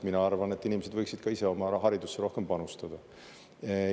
Mina arvan, et inimesed võiksid ka ise oma raha haridusse rohkem panustada.